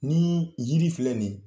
Ni yiri filɛ nin